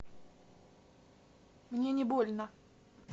мне не больно